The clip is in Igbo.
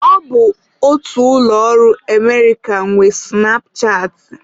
Ọ bụ otu ụlọ ọrụ Emerịka nwe sụnapchaatị.